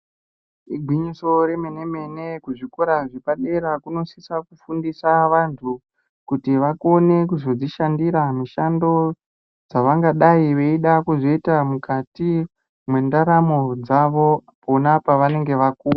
Igwinyiso remene mene kuzvikora zvepadera kunosisa kufundisa vantu kuti vakone kuzodzishandira mushando dzavangadai veida kuzoita mukati mendaramo dzavo pona pavanenge vakura.